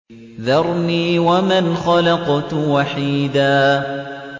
ذَرْنِي وَمَنْ خَلَقْتُ وَحِيدًا